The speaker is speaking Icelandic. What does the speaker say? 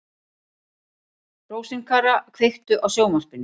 Rósinkara, kveiktu á sjónvarpinu.